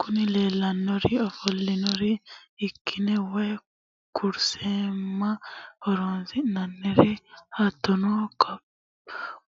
Kuni leellannori ofollinannir irki'ne woy kursimma horonsi'nanniri hattono